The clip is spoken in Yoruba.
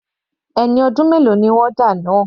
Ẹni ọdún mélòó ni warder náà?